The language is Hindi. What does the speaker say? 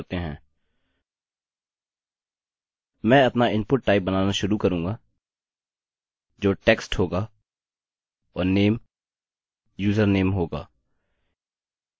मैं अपना इनपुट टाइप बनाना शुरू करूँगा जो text होगा और नेम username होगा